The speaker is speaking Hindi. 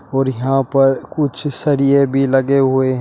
और यहां पर कुछ सरिये भी लगे हुए हैं।